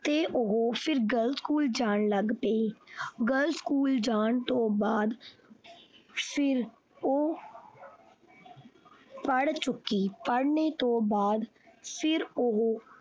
ਤੇ ਉਹ ਫਿਰ girls school ਜਾਣ ਲੱਗ ਪਈ girls school ਜਾਣ ਤੋਂ ਬਾਅਦ ਫਿਰ ਉਹ ਪੜ ਚੁੱਕੀ ਪੜਨੇ ਤੋਂ ਬਾਅਦ ਫਿਰ ਉਹ।